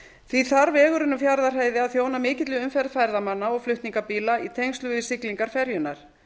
því þarf vegurinn um fjarðarheiði að þjóna mikilli umferð ferðamanna og flutningabíla í tengslum við siglingar ferjunnar